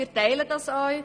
Wir teilen es auch.